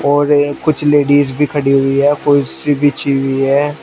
और ये कुछ लेडिस भी खड़ी हुई है कुर्सी बिछी हुई है।